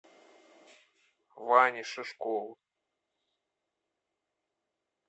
ване шишкову